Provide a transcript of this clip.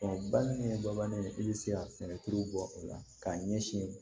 ba min ye babani ye i bɛ se ka sɛnɛ kiri bɔ o la k'a ɲɛsin